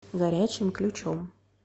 горячим ключом